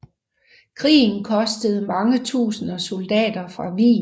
Krigen kostede mange tusinder soldaterliv fra Wien